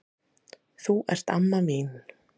Þú ert amma mín.